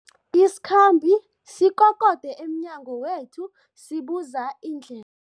Isikhambi sikokode emnyango wethu sibuza indle